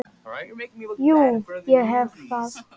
Jú, ég hef það.